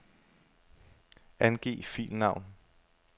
Angiv filnavn.